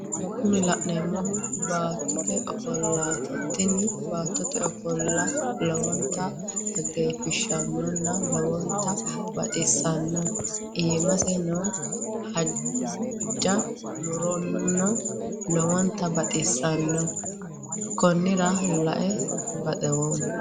Kuni la'neemmohu baattote offollaati tini baattote offolla lowontta xageefachishanno lowonttano baxissanno iimase noo haaja murono lowonta baxxissanno konnira lae baxoomma